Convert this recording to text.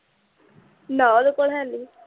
ਨਾ ਓਦੇ ਕੋਲ ਹੈ ਨੀ